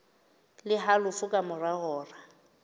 le halofo ka mora hora